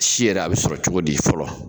Si yɛrɛ a bɛ sɔrɔ cogo di fɔlɔ?